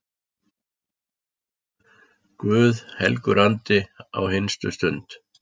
Guð helgur andi, á hinstu stund